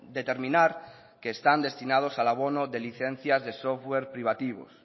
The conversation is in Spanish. determinar que están destinados al abono de licencias de software privativo